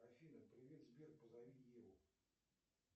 афина привет сбер позови еву